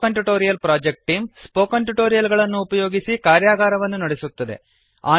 spoken tutorial project team spoken tutorial ಗಳನ್ನು ಉಪಯೋಗಿಸಿ ಕಾರ್ಯಗಾರವನ್ನು ನಡೆಸುತ್ತದೆ